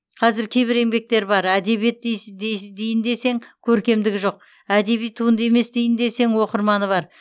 қазір кейбір еңбектер бар әдебиет дейін десең көркемдігі жоқ әдеби туынды емес дейін десең оқырманы бар